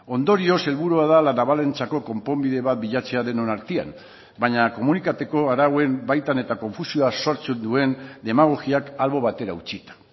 ondorioz helburua da la navalentzako konponbide bat bilatzea denon artean baina komunitateko arauen baitan eta konfusioa sortzen duen demagogiak albo batera utzita